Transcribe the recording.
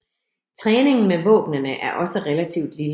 Træningen med våbnene er også relativt lille